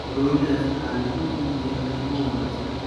Broilers waxaa lagu iibiyaa qiimo wanaagsan.